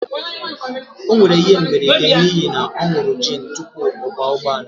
o nwere ihe mberede n'ihi na ọ ṅụru gin tupu ya akwọ ụgbọala